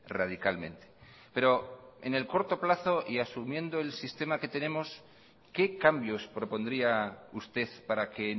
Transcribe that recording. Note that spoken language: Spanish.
radicalmente pero en el corto plazo y asumiendo el sistema que tenemos qué cambios propondría usted para que